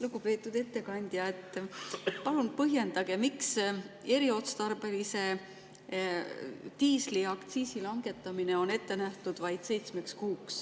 Lugupeetud ettekandja, palun põhjendage, miks eriotstarbelise diisliaktsiisi langetamine on ette nähtud vaid seitsmeks kuuks.